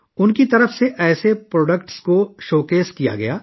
ان کی جانب سے دیویانگوں دوست مصنوعات کی نمائش کی گئی